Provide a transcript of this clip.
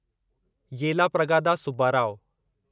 Yellapragada Subbarao